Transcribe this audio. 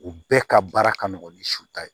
U bɛɛ ka baara ka nɔgɔ ni suta ye